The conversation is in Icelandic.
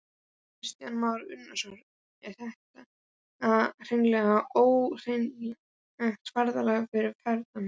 Kristján Már Unnarsson: Er þetta hreinlega ógleymanlegt ferðalag fyrir ferðamennina?